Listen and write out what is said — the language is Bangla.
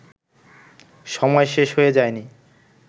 সময় শেষ হয়ে যায়নি